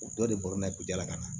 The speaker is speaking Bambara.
U dɔ de bɔlɔlɔ ka na